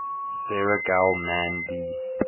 sarah gell mann b